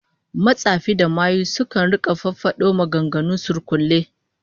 Matsafa da mayu sukan rika fafado maganganun surkulle